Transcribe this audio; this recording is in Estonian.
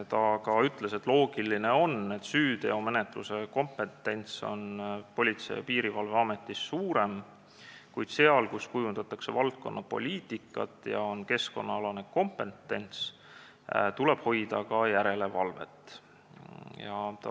Ta ütles, et on loogiline, et süüteomenetluse kompetents on Politsei- ja Piirivalveametis suurem, kuid seal, kus kujundatakse valdkonnapoliitikat ja on keskkonnalane kompetents, tuleb hoida ka järelevalvet.